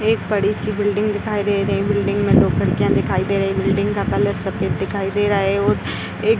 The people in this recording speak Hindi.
एक बड़ी सी बिल्डिंग दिखाई दे रही है। बिल्डिंग में दो खिड़कियाँ दिखाई दे रही हैं। बिल्डिंग का कलर सफ़ेद दिखाई दे रहा है और एक --